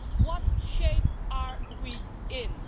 What shape are we in?